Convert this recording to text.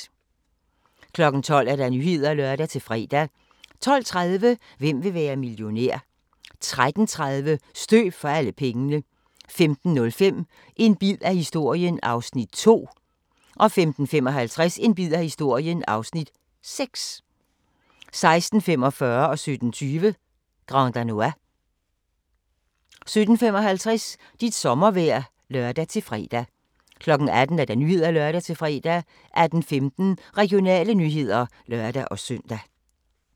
12:00: Nyhederne (lør-fre) 12:30: Hvem vil være millionær? 13:30: Støv for alle pengene 15:05: En bid af historien (Afs. 2) 15:55: En bid af historien (Afs. 6) 16:45: Grand Danois 17:20: Grand Danois 17:55: Dit sommervejr (lør-fre) 18:00: Nyhederne (lør-fre) 18:15: Regionale nyheder (lør-søn)